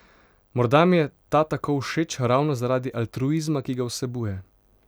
Morda mi je ta tako všeč ravno zaradi altruizma, ki ga vsebuje.